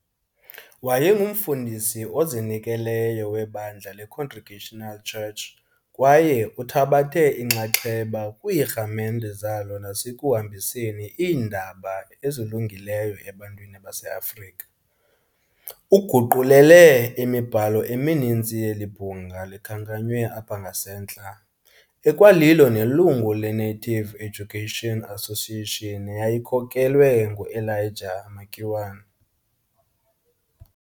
Waye ngumfundisi ozinikeleyo webandla leCongregational Church kwaye uthabathe inxaxheba kwiirhamente zalo nasekuhambiseni iindaba ezilungileyo ebantwini base-Afrika. Uguqulele imibhalo emininzi yeli bhunga likhankanywe apha ngasentla, ekwalilo nelungu leNative Education Association neyayikhokelwe ngu-Elijah Makiwane.